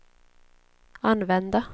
använda